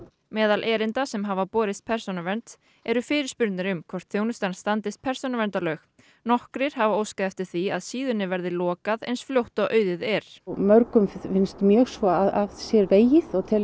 meðal erinda sem hafa borist persónuvernd eru fyrirspurnir um hvort þjónustan standist persónuverndarlög nokkrir hafa óskað eftir því að síðunni verði lokað eins fljótt og auðið er mörgum finnst mjög svo að sér vegið og